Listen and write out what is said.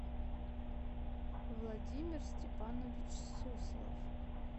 владимир степанович суслов